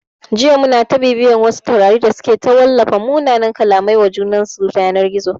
Jiya muna ta bibiyan wasu taurari da suke ta wallafa munanan kallamai wa junansu ta yanar gizo